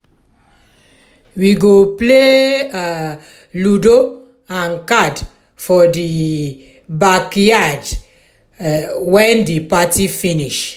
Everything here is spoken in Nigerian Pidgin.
we go play um ludo and card for di um backyard um wen di party finish.